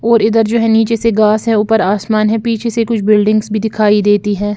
और इधर जो है नीचे से घास है ऊपर आसमान है पीछे से कुछ बिल्डिंग्स भी दिखाई देती है।